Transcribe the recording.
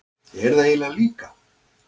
Ég er það eiginlega líka.